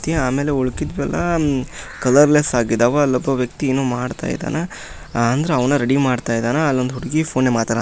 ಆಮೇಲೆ ಉಳಿಕಿದ್ದು ಉಮ್ ಎಲ್ಲಾ ಕಲರ್ಲೆಸ್ ಆಗಿದಾವ. ಅಲ್ಲೊಬ್ಬ ವ್ಯಕ್ತಿ ಏನು ಮಾಡ್ತಾ ಇದ್ದಾನ. ಹ್ ಅಂದ್ರ ಅವನ ರೆಡಿ ಮಾಡ್ತಾ ಇದ್ದಾನ. ಅಲ್ಲೊಂದು ಹುಡುಗಿ ಫೋನ್ ಮಾತಾನಾ--